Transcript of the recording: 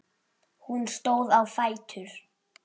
Hún stóð á fætur.